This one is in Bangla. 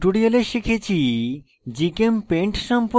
in tutorial শিখেছি